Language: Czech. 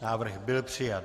Návrh byl přijat.